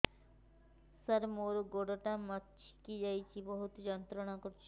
ସାର ମୋର ଗୋଡ ଟା ମଛକି ଯାଇଛି ବହୁତ ଯନ୍ତ୍ରଣା କରୁଛି